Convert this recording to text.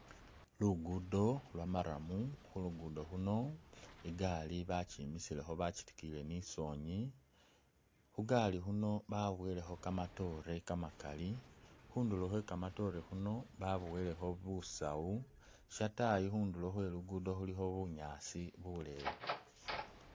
Lugudo lwa marrum khulugudo khuno igari bakyimisilekho bakyitikiyile ni’sonyi khugali khuno babowelekho kamatore kamakali khundulo khwe kamatore khuno babowelekho busawu shatayi khundulo khwe lugudo khulikho bunyasi buleyi.